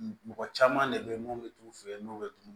Mɔgɔ caman de bɛ yen minnu bɛ t'u fɛ yen n'u bɛ tunun